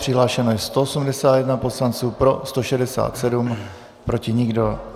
Přihlášen je 181 poslanec, pro 167, proti nikdo.